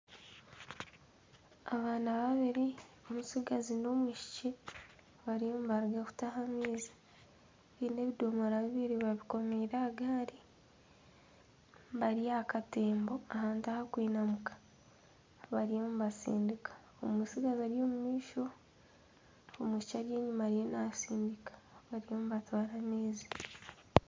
Abaana babiri omutsigazi n'omwishiki bariyo nibaruga kutaha amaizi. Baine ebidomora bibiri babikomiire aha gaari. Bari aha katembo ahantu aha kwinamuka bariyo nibasindika. Omutsigazi ari omu maisho omwishiki ari enyima ariyo nasindika. bariyo nibatwara amaizi.